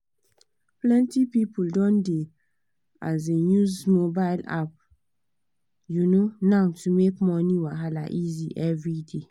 plenty people don dey um use mobile apps um now to make money wahala easy every day.